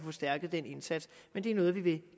forstærket den indsats men det er noget vi vil